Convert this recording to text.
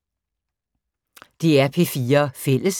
DR P4 Fælles